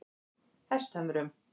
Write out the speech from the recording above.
Hesthömrum